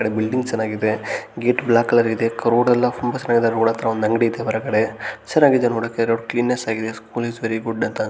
ಈ ಬಿಲ್ಡಿಂಗ್ ಚೆನ್ನಾಗಿದೆ gate black colour ಇದೆ ರೋಡ್ ಎಲ್ಲ ತುಂಬ ಚೆನ್ನಾಗಿದೆ ರೋಡ್ ಅತ್ರ ಒಂದು ಅಂಗಡಿ ಇದೆ ಹೊರಗಡೆ ಚೆನ್ನಾಗಿದೆ ನೋಡೋಕೆ ರೊಡ ಕ್ಲೀನ್ನೆಸ್ ಆಗಿದೆ ಸ್ಕೂಲ್‌ ಇಸ್ ವೆರಿ ಗುಡ್ ಅಂತ --